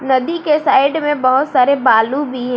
नदी के साइड में बहोत सारे बालू भी है।